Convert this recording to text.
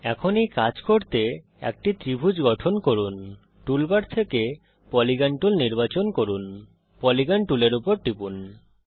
এখন এই কাজ করতে একটি ত্রিভুজ গঠন করুন টুল বার থেকে পলিগন টুল নির্বাচন করুন পলিগন টুলের উপর টিপুন